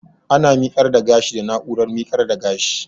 Ana miƙar da gashi da na'urar miƙar da gashi